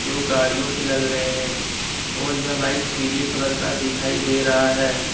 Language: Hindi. दो गाड़ियों की लग रहे हैं और यह लाइट पीले कलर का दिखाई दे रहा है।